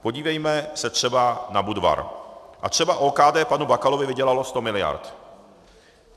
Podívejme se třeba na Budvar, a třeba OKD panu Bakalovi vydělalo sto miliard.